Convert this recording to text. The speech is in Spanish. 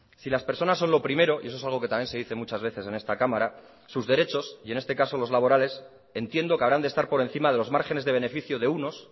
si las personas son lo primero y eso es algo que también se dice muchas veces en esta cámara sus derechos y en este caso los laborales entiendo que habrán de estar por encima de los márgenes de beneficio de unos